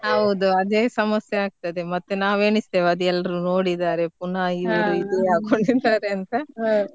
ಹೌದು ಅದೇ ಸಮಸ್ಸೆ ಆಗೋದು ಮತ್ತೆ ನಾವ್ ಏನಿಸ್ತೇವೆ ಅದು ಎಲ್ರು ನೋಡಿದಾರೆ ಪುನಃ ಇದೆ ರೀತಿ ಹಾಕೊಂಡಿದಾರೆ ಅಂತ .